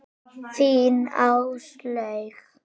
Þín, Áslaug.